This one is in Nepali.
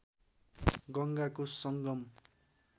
गङ्गाको सङ्गम